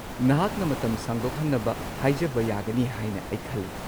ꯅꯍꯥꯛꯅ ꯃꯇꯝ ꯁꯥꯡꯗꯣꯛꯍꯟꯅꯕ ꯍꯥꯏꯖꯕ ꯌꯥꯒꯅꯤ ꯍꯥꯏꯅ ꯑꯩ ꯈꯜꯂꯤ꯫